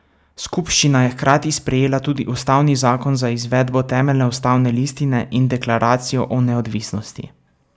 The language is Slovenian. Skupščina je hkrati sprejela tudi ustavni zakon za izvedbo temeljne ustavne listine in Deklaracijo o neodvisnosti.